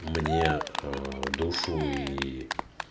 мне душу и